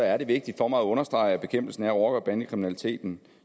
er det vigtigt for mig at understrege at bekæmpelsen af rocker og bandekriminaliteten